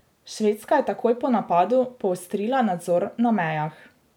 Švedska je takoj po napadu poostrila nadzor na mejah.